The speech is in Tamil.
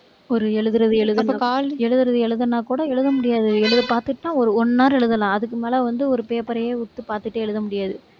ஒரு எழுதுறது, எழுதுறது, எழுதுறது, எழுதுனா கூட, எழுத முடியாது. எழுத பாத்துட்டுதான், ஒரு one hour எழுதலாம். அதுக்கு மேல வந்து, ஒரு paper ரையே உத்து பாத்துட்டே எழுத முடியாது